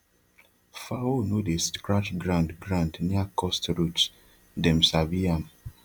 fowl no dey scratch ground ground near cursed roots dem sabi am